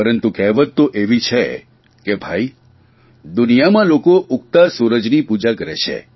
પરંતુ કહેવત તો એવી છે કે ભાઇ દુનિયામાં લોકો ઉગતા સૂરજની પૂજા કરે છે